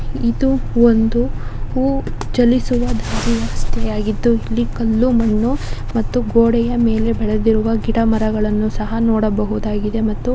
ಇದು ಒಂದು ಹೂವು ಚಲಿಸುವ ದಾರಿ ಯಾಗಿದ್ದು ಕಲ್ಲು ಮಣ್ಣು ಮತ್ತು ಗೋಡೆಯ ಮೇಲೆ ಬೆಳೆದಿರುವ ಗಿಡಮರಗಳನ್ನು ಸಹ ನೋಡಬಹುದಾಗಿದೆ.